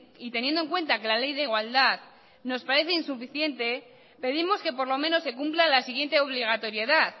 y teniendo en cuenta que la ley de igualdad nos parece insuficiente pedimos que por lo menos se cumpla la siguiente obligatoriedad